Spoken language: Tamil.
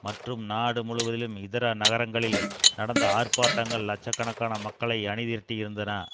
மற்றும் நாடு முழுவதிலும் இதர நகரங்களில் நடந்த ஆர்ப்பாட்டங்கள் லட்ச கணக்கான மக்களை அணிதிரட்டி இருந்தன